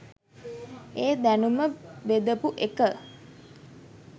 ඒ දැනුම බෙදපු එක